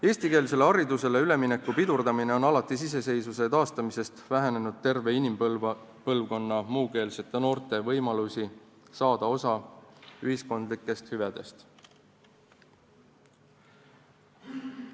Eestikeelsele haridusele ülemineku pidurdamine on alates iseseisvuse taastamisest vähendanud terve inimpõlvkonna muukeelsete noorte võimalusi saada osa ühiskondlikest hüvedest.